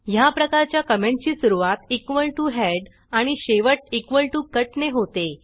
ह्या प्रकारच्या कॉमेंटची सुरूवात इक्वॉल टीओ हेड आणि शेवट इक्वॉल टीओ कट ने होते